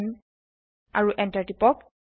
10 আৰু এন্টাৰ কৰক